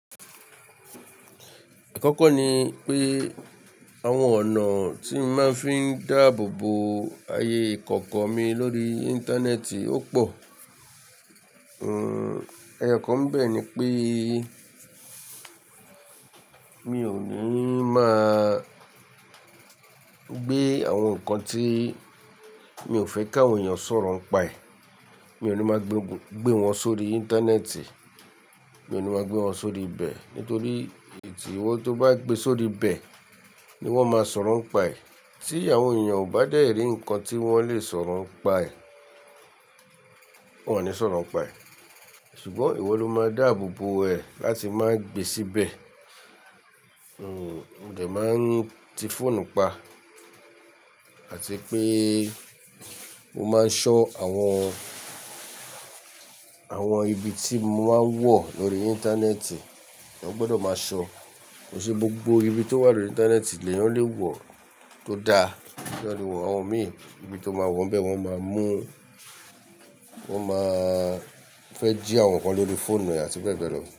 Àkọ́kọ́ ni pé, àwọn ọ̀nà tí n màá fi ń dáàbò bo ayé ikọ̀ko mi lórí Íńtánẹ́ẹ̀tì ó pò. Ẹyọ kan bẹ́ẹ̀ ni pé mi ò ní máa gbé àwọn nǹkan tí mi ò fẹ́ káwọn èèyàn sọ̀rọ̀ ń pa è, mi ò ní máa gbé wọn sórí Íńtánẹ́ẹ̀tì, mi ò ní máa gbé wọn sórí ibẹ̀. Nítorí tí-- ìwọ tó bá gbe sórí ibẹ̀ ni wọ́n máa sọ̀rọ̀ ń pa è. Tí àwọn èèyàn ò bá dẹ̀rí nǹkan tí wọ́n lè sọ̀rọ̀ ń pa è, wọ́n ò ní sọ̀rọ̀ ń pa è. Ṣùgbọ́n ìwọ ló máa dáàbò bo ẹ láti má gbe síbẹ̀. Mo dẹ̀ máa ń ti fóònù pa àti pé mo máa ń ṣọ́ àwọn, àwọn ibi tí mo máa ń wọ̀ lórí Íńtánẹ́ẹ̀tì. Wọ́n gbọdọ̀ máa ṣọ́. Kò n se gbogbo ibi tó wà lórí Íńtánẹ́ẹ̀tì lè yàn lé wọ̀ tó da. Àwọn mìíràn ibi tó máa wọ̀n bẹ́ẹ̀ wọ́n máa mú, wọ́n máa fẹ́ jí àwọn nǹkan lórí fóònù e à tí bẹ́ẹ̀ bẹ́ẹ̀ lọ.